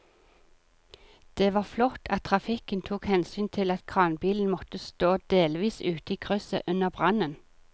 Det var flott at trafikken tok hensyn til at kranbilen måtte stå delvis ute i krysset under brannen.